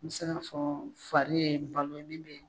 Me se ka fɔ fari ye balo ye min bɛ